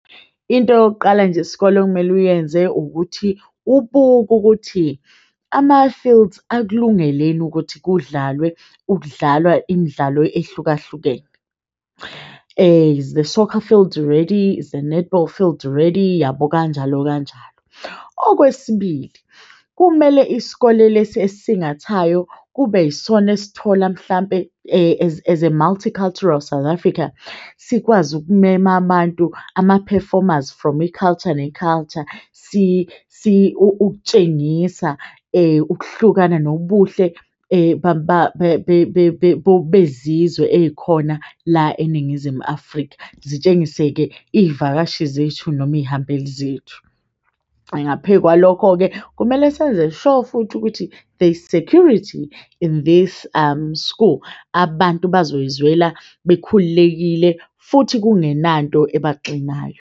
Into yokuqala nje isikole okumele uyenze ukuthi ubuke ukuthi ama-fields akulungele yini ukuthi kudlalwe ukudlalwa imidlalo ehlukahlukene. Is the soccer field ready? Is the netball field ready, yabo? Kanjalo, kanjalo. Okwesibili, kumele isikole lesi esingathayo kube yisona esithola mhlampe as as a multicultural South Africa, sikwazi ukumema abantu ama-performers from i-culture ne-culture ukutshengisa ukuhlukana nobuhle bezizwe ey'khona la eNingizimu Afrika. Zitshengise-ke iy'vakashi zethu noma iy'hambeli zethu. Ngaphekwalokho-ke kumele senze sure futhi ukuthi there is security in this school, abantu bazoy'zwela bekhululekile futhi kungenanto ebaxinayo.